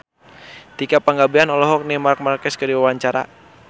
Tika Pangabean olohok ningali Marc Marquez keur diwawancara